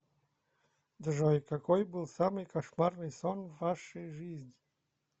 джой какой был самый кошмарный сон в вашей жизни